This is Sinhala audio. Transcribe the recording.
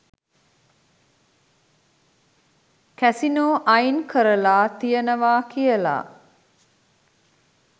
කැසිනෝ අයින් කරලා තියෙනවා කියලා.